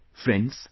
Friends,